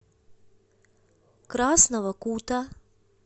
красного кута